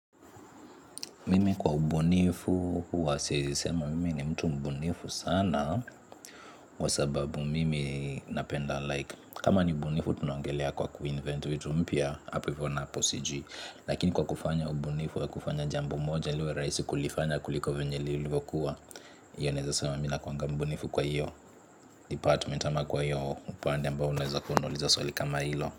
Mimi kwa ubunifu, huwa sisemi mimi ni mtu mbunifu sana. Kwa sababu mimi napenda like, kama ni ubunifu tunaongelea kwa kuinvent vitu mpya hapo hivo napo sijiu. Lakini kwa kufanya ubunifu ya kufanya jambo moja liwe rahisi kulifanya kuliko venye lilivokuwa. Iyo naweza sema mi nakuwanga mbunifu kwa hiyo department ama kwa hiyo upande ambao unaweza kuniuliza swali kama hilo.